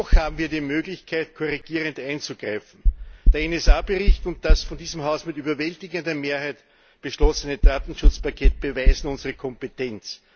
Noch haben wir die Möglichkeit, korrigierend einzugreifen. Der NSA Bericht und das von diesem Haus mit überwältigender Mehrheit beschlossene Datenschutzpaket beweisen unsere Kompetenz.